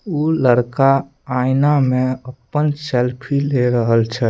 उ लड़का आयना में अपन सेल्फी ले रहल छै।